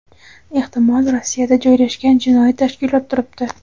ehtimol Rossiyada joylashgan jinoiy tashkilot turibdi.